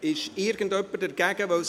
Es besteht nun keine Differenz mehr.